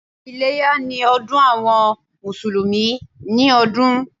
Iléyá ni ọdún àwọn Mùsùlùmí ni ọdún.